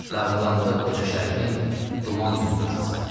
Dağılanda qoca Şərqin duman dünyası.